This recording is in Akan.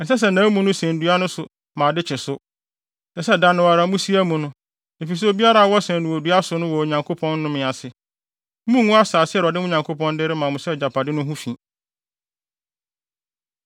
ɛnsɛ sɛ nʼamu no sɛn dua no so ma ade kye so. Ɛsɛ sɛ da no ara, musie amu no, efisɛ obiara a wɔsɛn no wɔ dua so no wɔ Onyankopɔn nnome ase. Munngu asase a Awurade, mo Nyankopɔn no, de rema mo sɛ agyapade no ho fi.